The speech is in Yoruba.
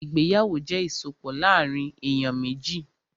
Ìgbéyàwó jẹ́ ìsopọ̀ láàrín èyàn méjì.